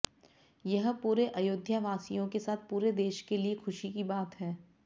यह पूरे अयोध्या वासियों के साथ पूरे देश के लिए खुशी की बात है